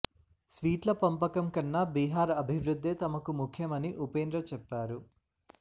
సీట్ల పంపకం కన్నా బీహార్ అభివృద్ధే తమకు ముఖ్యమని ఉపేంద్ర చెప్పారు